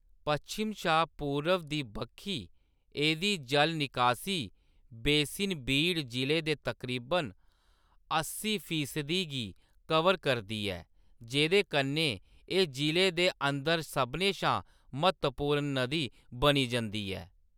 पश्चिम शा पूर्व दी बक्खी एह्‌‌‌दी जल निकासी बेसिन बीड जिले दे तकरीबन अस्सी फीसदी गी कवर करदी ऐ, जेह्‌‌‌दे कन्नै एह्‌‌ जिले दे अंदर सभनें शा म्हतवपूर्ण नदी बनी जंदी ऐ।